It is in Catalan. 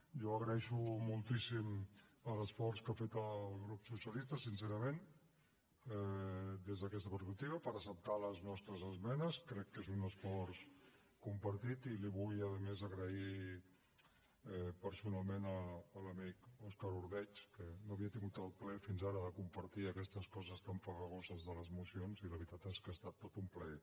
jo agraeixo moltíssim l’esforç que ha fet el grup socialista sincerament des d’aquesta perspectiva per acceptar les nostres esmenes crec que és un esforç compartit i li vull a més agrair personalment a l’amic òscar ordeig que no havia tingut el plaer fins ara de compartir aquestes coses tan farragoses de les mocions i la veritat és que ha estat tot un plaer